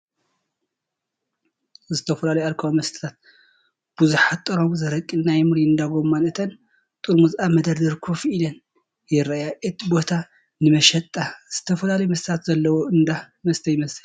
ዝተፈላለዩ ኣልኮላዊ መስተታትን ብዙሓት ጥርሙዝ ኣረቂ ፣ናይ ሚሪንዳ ጎማን እተን ጥርሙዝ ኣብ መደርደሪ ኮፍ ኢለን ይረኣያ። እቲ ቦታ ንመሸጣ ዝተፈላለዩ መስተታት ዘለዎ እንዳ መስተ ይመስል።